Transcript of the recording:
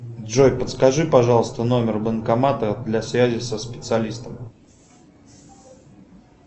джой подскажи пожалуйста номер банкомата для связи со специалистом